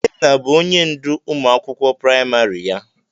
Ikenna bụ ónyé ndụ ụmụ akwụkwọ praịmarị ya.